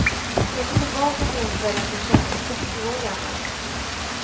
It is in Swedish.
Tänkte tillbaka på den kvällen som kändes trettio år gammal.